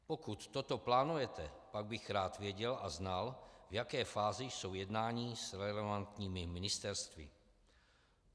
Pokud toto plánujete, pak bych rád věděl a znal, v jaké fázi jsou jednání s relevantními ministerstvy.